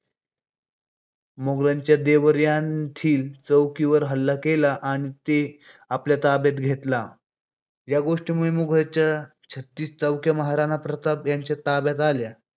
मोगलांच्या देवर येथील चोकीवर हल्ला केला आणि ते आपल्या ताब्यात घेतल्या या गोष्टीमुळे मुगलांच्या छत्तीस चौक्या महाराणा प्रताप यांच्या ताब्यात आल्या